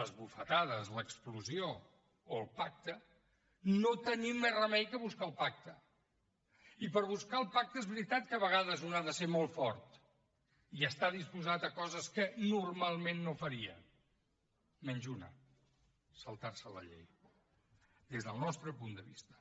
les bufetades l’explosió o el pacte no tenim més remei que buscar el pacte i per buscar el pacte és veritat que a vegades un ha de ser molt fort i estar disposat a coses que normalment no faria menys una saltar se la llei des del nostre punt de vista